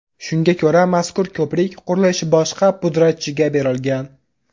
Shunga ko‘ra, mazkur ko‘prik qurilishi boshqa pudratchiga berilgan.